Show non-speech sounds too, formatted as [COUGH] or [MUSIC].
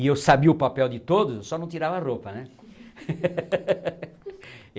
e eu sabia o papel de todos, eu só não tirava roupa né. [LAUGHS]